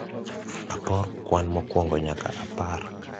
apor kwan mokwongo nyaka apar